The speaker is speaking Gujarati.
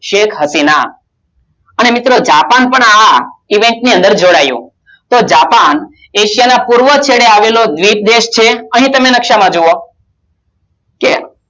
સેખહસીના અને મિત્રો જાપાન Event ની અંદર જોડાયુ તો જાપાન એશિયા ના પૂર્વ ક્ષણે આવેલા મુર્પ દેશ છે અને તમે નકશા માં જોવો